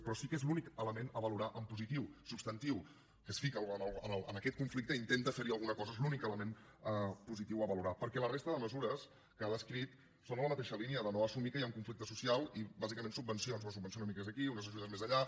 però sí que és l’únic element a valorar en positiu substantiu que es fica en aquest conflicte i intenta fer hi alguna cosa és l’únic element positiu a valorar perquè la resta de mesures que ha descrit són en la mateixa línia de no assumir que hi ha un conflicte social i bàsicament subven cions unes subvencions una mica més aquí unes ajudes més allà